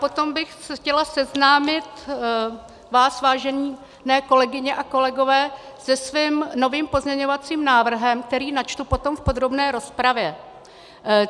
Potom bych chtěla seznámit vás, vážené kolegyně a kolegové, se svým novým pozměňovacím návrhem, který načtu potom v podrobné rozpravě.